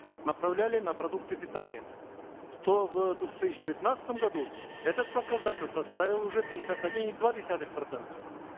направляли на продукты питания то в две тысячи девятнадцатом году этот показатель составил уже пятьдесят один и два десятых процента